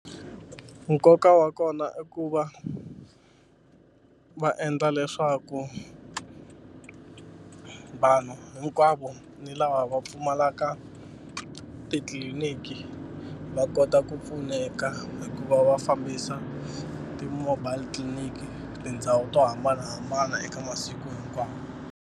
Nkoka wa kona i ku va va endla leswaku vanhu hinkwavo ni lava va pfumalaka titliliniki va kota ku pfuneka hikuva va fambisa ti-mobile clinic tindhawu to hambanahambana eka masiku hinkwawo.